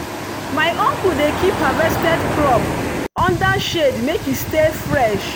my uncle dey keep harvested crop under shade make e stay fresh.